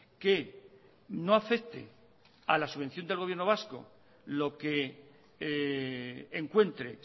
que no afecte a la subvención del gobierno vasco lo que encuentre